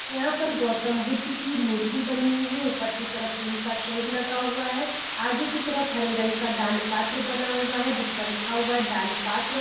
यहाँ पर गौतम बुद्ध की मूर्ति बनी हुई है ऊपर की तरफ टीन का शेड लगा हुआ है आगे की तरफ हरे रंग का दान पात्र बना हुआ है जिस पर लिखा हुआ है दान पात्र।